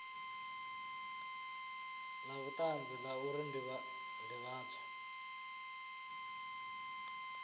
la vhutanzi la uri ndivhadzo